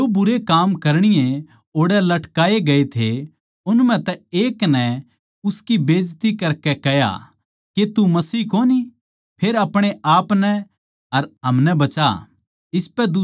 जो भुण्डे काम करणीये ओड़ै लटकाए गए थे उन म्ह तै एक नै उसकी बेजती करकै कह्या के तू मसीह कोनी फेर अपणे आपनै अर हमनै बचा